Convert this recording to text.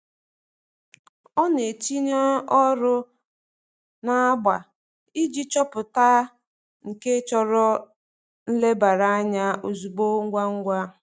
Ọ na-etinye ọrụ n'agba iji chọpụta nke chọrọ nlebara anya ozugbo ngwa ngwa.